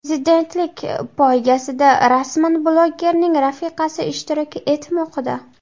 Prezidentlik poygasida rasman blogerning rafiqasi ishtirok etmoqda.